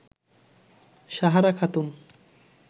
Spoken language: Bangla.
সাহারা খাতুন